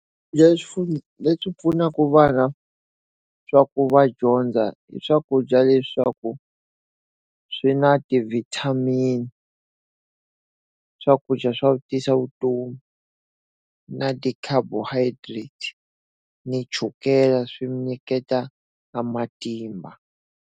Leswi leswi pfunaka vana swa ku va dyondza hi swakudya leswaku swi na ti-vitamin, swakudya swa ku tisa vutomi, na ti-carbohydrates, ni chukela swi nyiketa na matimba.